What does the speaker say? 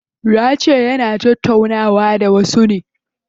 Yace yana da tattaunawa da wasu.